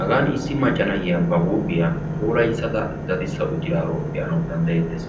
hagan issi macca na'iya ba huuphiya puulaya daddissa uttidaaro be'ana danddayeetees.